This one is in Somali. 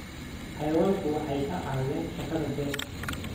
Xayawaanku waxay ka caawiyaan shaqada beerta.